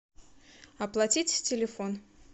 оплатить телефон